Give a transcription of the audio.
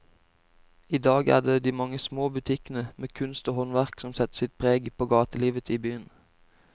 I dag er det de mange små butikkene med kunst og håndverk som setter sitt preg på gatelivet i byen.